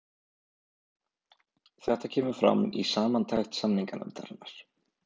Þetta kemur fram í samantekt samninganefndarinnar